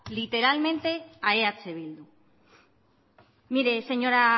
literalmente a eh bildu mire señora